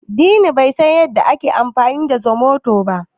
Dini bai san yadda ake amfani da zomoto ba.